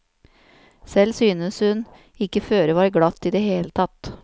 Selv synes hun ikke føret var glatt i det hele tatt.